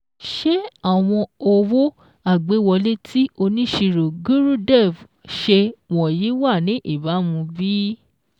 Ṣé àwọn owó agbéwọlé tí oníṣirò Gurudev ṣe wọ̀nyìí wa ní ìbàmu bí?